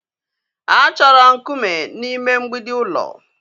A chọrọ nkume n'ime mgbidi ụlọ